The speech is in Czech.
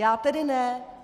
Já tedy ne.